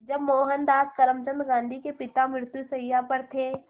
जब मोहनदास करमचंद गांधी के पिता मृत्युशैया पर थे